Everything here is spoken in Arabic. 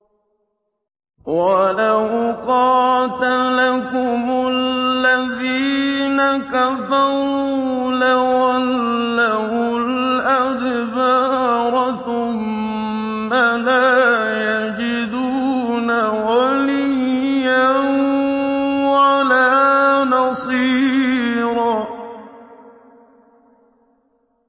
وَلَوْ قَاتَلَكُمُ الَّذِينَ كَفَرُوا لَوَلَّوُا الْأَدْبَارَ ثُمَّ لَا يَجِدُونَ وَلِيًّا وَلَا نَصِيرًا